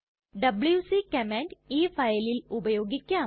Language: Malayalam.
ഡബ്ല്യൂസി കമാൻഡ് ഈ ഫയലിൽ ഉപയോഗിക്കാം